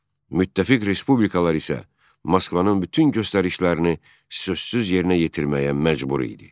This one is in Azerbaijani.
Müttəfiq respublikalar isə Moskvanın bütün göstərişlərini sözsüz yerinə yetirməyə məcbur idi.